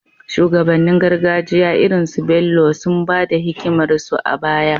Shugabannin gargajiya irin su Bello sun ba da hikimarsu a baya